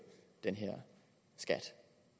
den her skat